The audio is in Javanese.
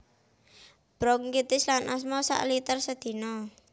Bronkitis lan asma sak liter sedina